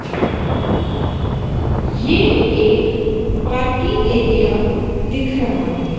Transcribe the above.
ये एक parking area दिख रहा है।